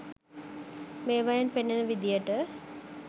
මේවායින් පෙනෙන විදියට